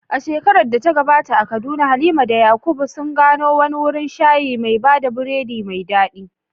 A shekarar da ta gabata a Kaduna, Halima da Yakub sun gano wani wurin shayi mai bada biredi mai dadi.